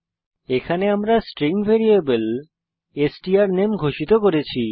এখানে আমরা string variable স্ট্রানামে ঘোষিত করেছি